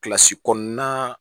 Kilasi kɔnɔnan